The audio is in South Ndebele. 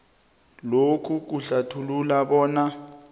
lokhu kuhlathulula bona